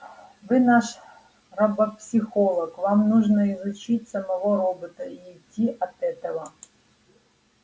вы наш робопсихолог вам нужно изучить самого робота и идти от этого